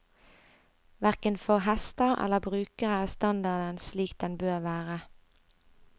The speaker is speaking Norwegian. Hverken for hester eller brukere er standarden slik den bør være.